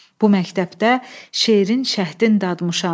Bu məktəbdə şeirin şahdın dadmışam.